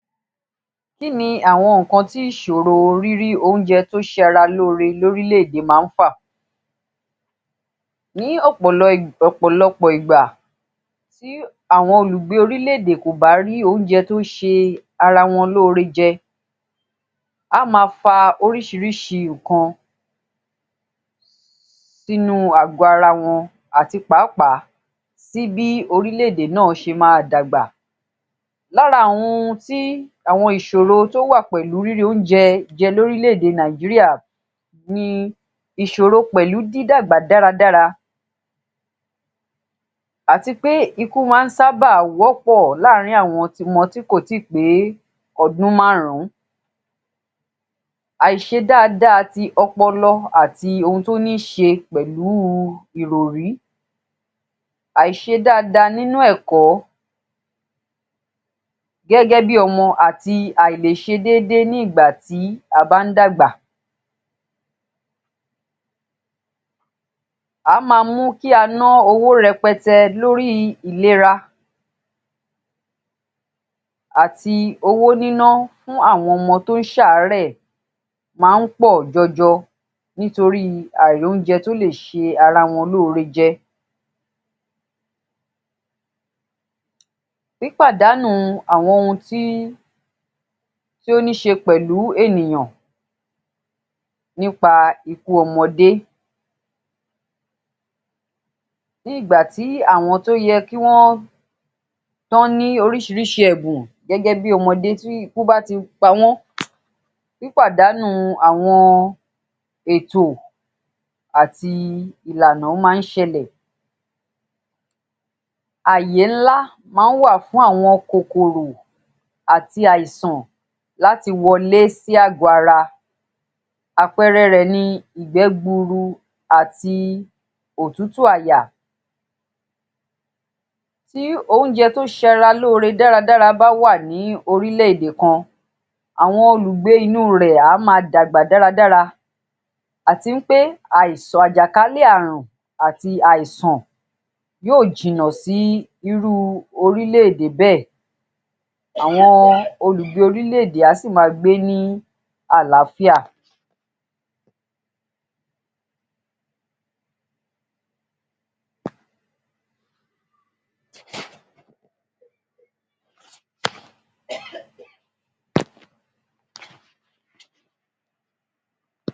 ‎Kí ni àwọn nǹkan ìṣòro rírí oúnjẹ tó sara lóore lórílẹ̀ èdè máa ń fà, ní ọ̀pọ̀lọpọ̀ ìgbà tí àwọn tí àwọn olùgbé orílẹ̀ èdè kò bá rí oúnjẹ tí ó sara wọn lóore jẹ á máa fa orísìírísìí nǹkan sínú ààgọ́ ara wọn àtipàápàá kò sí bí orílẹ̀ èdè náà ṣe máa dàgbà, lára àwọn ohun tí àwọn ìṣòro ìṣòro tí ó wà pẹ̀lú rírí oúnjẹ jẹ lórílẹ̀ èdè Nàìjíríà ni ìṣòro pẹ̀lú dídàgbà dára dára àti pé ikú máa ń sábà wọ́pọ̀ láàrin àwọn ọmọ tí kò tíì pé ọdún márùn-ún, àìṣe dáa dáa ti ọpọlọ àti ohun tí ó ní ṣe pẹ̀lú ìròrí, àìṣe dáa dáa nínú ẹ̀kọ́ gẹ́gẹ́ bí ọmọ àti àìlè ṣe déédéé nígbà tí a bá ń dàgbà, á máa mú kí á máa ná owó rẹpẹtẹ lórí ìlera àti owó níná lórí àwọn ọmọ tí ó ń ṣàárẹ̀ máa ń pọ̀ jọjọ nítorí àìrí oúnjẹ tí ó lè ṣe ara wọn lóore jẹ, pípàdánù àwọn ohun tí ó ní ṣe pẹ̀lú ènìyàn nípa ikú ọmọdé ní ìgbà tí àwọn tí ó yẹ kí Wọ́n ní orísìírísìí ẹ̀bùn gẹ́gẹ́ bí ọmọdé tí ikú bá ti pa wọ́n tí pípàdánù àwọn ètò àti ìlànà máa ń ṣẹlẹ̀ ààyè ńlá máa ń wà fún àwọn kòkòrò àti àìsàn láti wọlé sí ààgọ́ ara àpẹẹrẹ rẹ ni ìgbẹ́ gbuuru, àti òtútù àyà tí oúnjẹ tó sara lóore dáa dáa bá wà ní orílẹ̀ èdè kan àwọn olùgbé inú rẹ a máa dàgbà dára dára àti wí pé àìsàn àjàkálẹ̀ ààrun àti àìsàn yóò jìnà sí irú orílẹ̀ èdè bẹ́ẹ̀ àwọn olùgbé orílẹ̀ èdè á sì máa gbé ní àlàáfíà